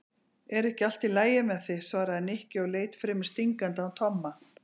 Er ekki allt lagi með þig? svaraði Nikki og leit fremur stingandi á Tomma.